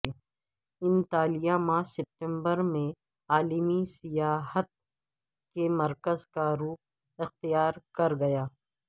Antalya ماہ ستمبر میں عالمی سیاحت کے مرکز کا روپ اختیار کرگیا